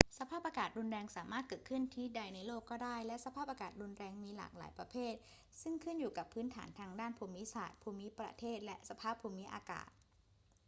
สภาพอากาศรุนแรงสามารถเกิดขึ้นที่ใดในโลกก็ได้ และสภาพอากาศรุนแรงมีหลากหลายประเภทซึ่งขึ้นอยู่กับพื้นฐานทางด้านภูมิศาสตร์ ภูมิประเทศ และสภาพภูมิอากาศ